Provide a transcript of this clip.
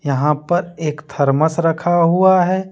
यहां पर एक थरमस रखा हुआ है।